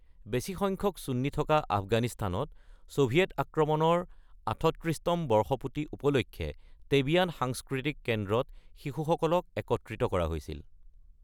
বেছিসংখ্যক চুন্নী থকা আফগানিস্তানত, ছোভিয়েট আক্ৰমণৰ ৩৮তম বৰ্ষপুৰ্তি উপলক্ষে টেবিয়ান সাংস্কৃতিক কেন্দ্ৰত শিশুসকলক একত্ৰিত কৰা হৈছিল।